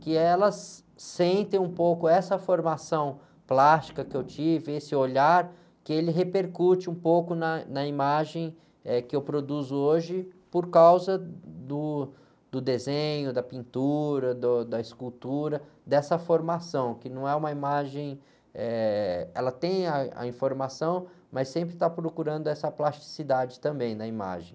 que elas sentem um pouco essa formação plástica que eu tive, esse olhar, que ele repercute um pouco na imagem, eh, que eu produzo hoje por causa do, do desenho, da pintura, do, da escultura, dessa formação, que não é uma imagem, eh... Ela tem ah, a informação, mas sempre está procurando essa plasticidade também na imagem.